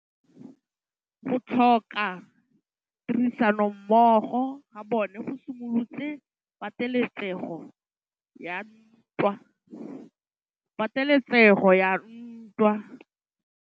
Go tlhoka tirsanommogo ga bone go simolotse patêlêsêgô ya ntwa.